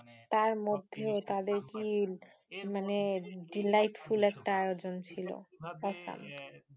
তার মধ্যে তাদের কি মানে delightful একটা আয়োজন ছিল awesome.